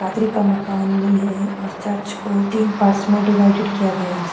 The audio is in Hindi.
पादरी का मकान भी है और चर्च को तीन पार्ट्स मे डीवाइडेड किया गया है।